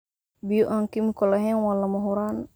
Biyo aan kiimiko lahayn waa lama huraan.